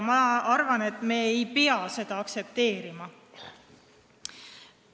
Ma arvan, et me ei pea seda aktsepteerima.